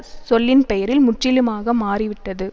சொல்லின்பெயரில் முற்றிலுமாக மாறிவிட்டது